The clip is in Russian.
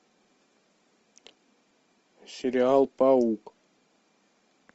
сериал паук